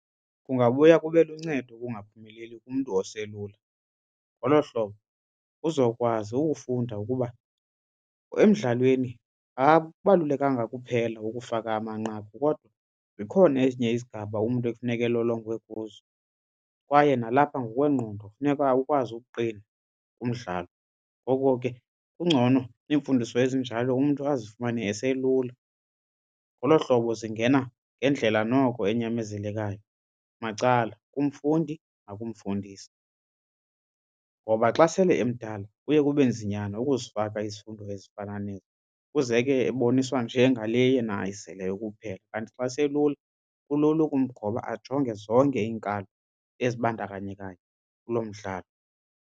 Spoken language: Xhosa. Kungabuya kube luncedo ukungaphumeleli kumntu oselula. Ngolo hlobo uzokwazi ukufunda ukuba emdlalweni akubalulekanga kuphela ukufaka amanqaku kodwa zikhona ezinye izigaba umntu ekufuneka elolongwe kuzo kwaye nalapha ngokwengqondo funeka akwazi ukuqina kumdlalo. Ngoko ke kungcono iimfundiso ezinjalo umntu azifumane eselula. Ngolo hlobo zingena ngendlela noko enyamezelekayo macala kumfundi nakumfundisi. Ngoba xa sele emdala kuye kube nzinyana ukuzifaka izifundo ezifana nezi kuze ke eboniswa nje ngale yena ayizeleyo kuphela. Kanti xa eselula kulula ukumgoba ajonge zonke iinkalo ezibandakanyekayo kulo mdlalo.